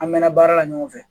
An mɛ na baara la ɲɔgɔn fɛ